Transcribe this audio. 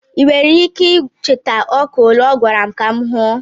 ị nwere ike icheta ọka ole ọ gwara m ka m huo?